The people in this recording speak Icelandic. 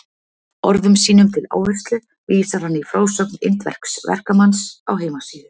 Orðum sínum til áherslu vísar hann í frásögn indversks verkamanns á heimasíðu